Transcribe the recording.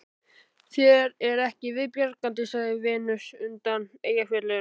Þér er ekki viðbjargandi, sagði Venus undan Eyjafjöllum